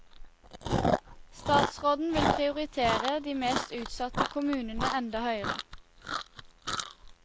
Statsråden vil prioritere de mest utsatte kommunene enda høyere.